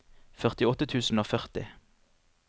førtiåtte tusen og førti